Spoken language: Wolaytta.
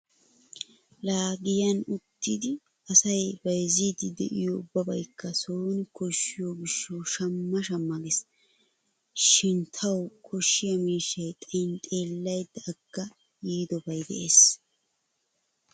Laa giyan uttidi asay bayzziiddi diyo ubbabaykka sooni koshshiyo gishshawu shamma shamma gees. Shin tawu koshiya miishshay xayin xeellaydda agga yiidobay de'es.